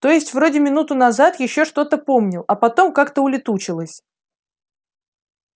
то есть вроде минуту назад ещё что-то помнил а потом как-то улетучилось